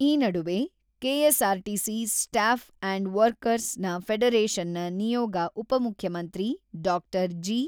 ಈ ನಡುವೆ KSRTC staff and workers ನ ಫೆಡರೇಷನ್‌ನ ನಿಯೋಗ ಉಪಮುಖ್ಯಮಂತ್ರಿ ಡಾಕ್ಟರ.ಜಿ.